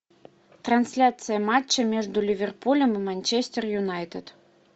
трансляция матча между ливерпулем и манчестер юнайтед